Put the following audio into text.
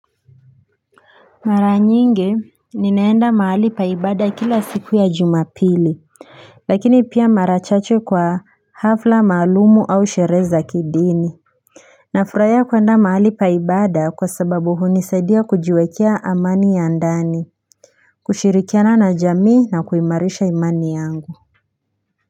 Mara nyingi ninaenda mahali pa ibada kila siku ya jumapili Lakini pia mara chache kwa hafla maalumu au sherehe za kidini Nafurahia kuenda mahali pa ibada kwa sababu hunisaidia kujiwekea amani ya ndani kushirikiana na jamii na kuimarisha imani yangu.